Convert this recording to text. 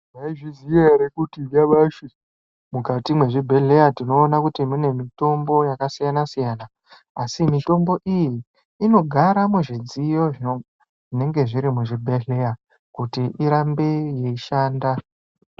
Maizviziya ere kuti nyamashi mukati mezvibhedhleya tinoona kuti mune mitombo yakasiyana-siyana, asi mitombo iyi inogara muzvidziyo zvinenge zviri muzvibhedhleya kuti irambe yeishanda?